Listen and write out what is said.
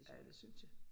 Ja det synes jeg